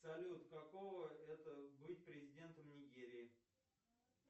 салют каково это быть президентом нигерии